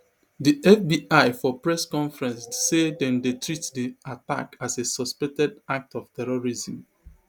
di fbi for press conference say dem dey treat di attack as a suspected act of terrorism